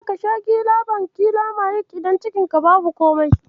Kada ka sha gilabankilamayid idan cikinka babu komai.